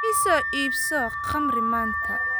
I soo iibso khamri maanta